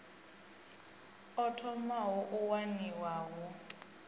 o thomaho u waniwa hu